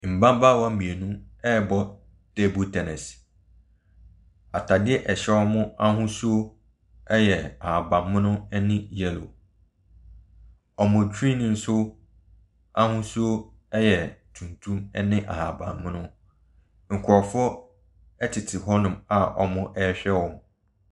Mmabaawa mmeinu rebɔ table tennis. Ataadeɛ a ɛhyɛ wɔn ahosuo yɛ ahaban mono ɛne yellow. Wɔn tiriwhi nso ahosuo ɛyɛ tuntum ɛne ahaban mono. Nkorɔfoɔ ɛtete hɔ nom a wɔrehwɛ wɔ mo.